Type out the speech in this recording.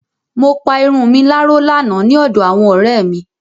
Mo pa irun mi láró lánàá ní ọ̀dọ àwọn ọ̀rẹ́ mi.